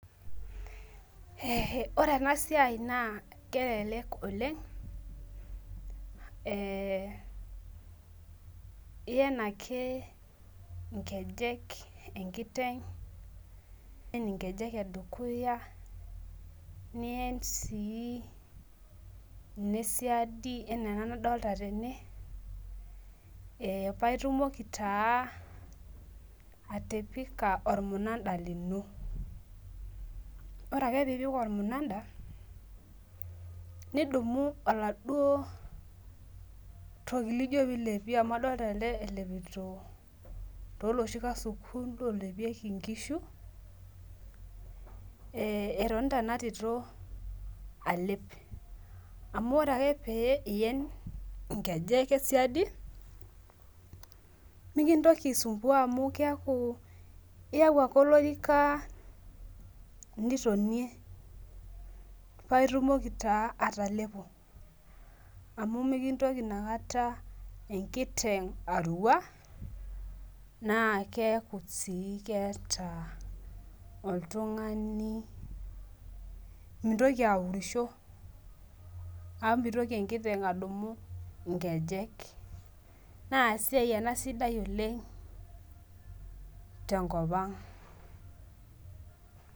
Ore enasia na kelelek oleng ebiyenvake nkejek enkiteng nien nkejek edukuya nien sii nesiadi ana ena nadolta tena paitumoki atipika ormunada lino ore ake pipik ormunada nidumu oladuo toki lino lijo pilepie amu adolta ele elepito toloshikasuku lolepieki nkishu etonata enatitl alep amu ore ake pien nkeje esiadi mikintoki aisumbua amu keaku iyau ake olorika nitonie paitumoki atalepo amu mikintoki inakata enkiteng arua na keaku si keeta oltungani mintoki aurisho amu mitoki emkiteng adumu nkejek na esiai ena sidai oleng tenkopang.